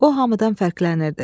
O hamıdan fərqlənirdi.